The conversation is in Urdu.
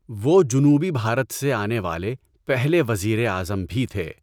وہ جنوبی بھارت سے آنے والے پہلے وزیر اعظم بھی تھے۔